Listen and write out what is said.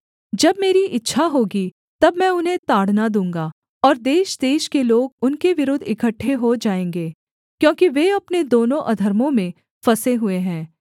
जब मेरी इच्छा होगी तब मैं उन्हें ताड़ना दूँगा और देशदेश के लोग उनके विरुद्ध इकट्ठे हो जाएँगे क्योंकि वे अपने दोनों अधर्मों में फँसें हुए हैं